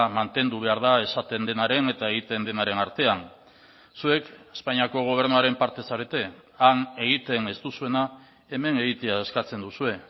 mantendu behar da esaten denaren eta egiten denaren artean zuek espainiako gobernuaren parte zarete han egiten ez duzuena hemen egitea eskatzen duzue